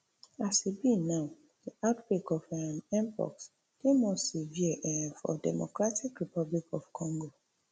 as e be now di outbreak of um mpox dey more severe um for democratic republic of congo